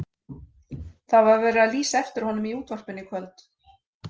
Það var verið að lýsa eftir honum í útvarpinu í kvöld.